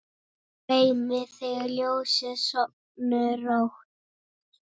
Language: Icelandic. Dreymi þig ljósið, sofðu rótt!